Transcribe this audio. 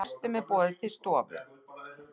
Gestunum er boðið til stofu.